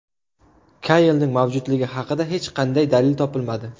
Kaylning mavjudligi haqida hech qanday dalil topilmadi.